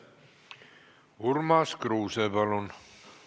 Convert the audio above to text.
Urmas Kruuse, palun!